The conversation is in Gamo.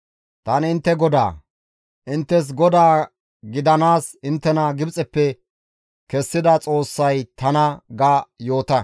Tani intte GODAA; inttes Godaa gidanaas inttena Gibxeppe kessida Xoossay tana› ga yoota.»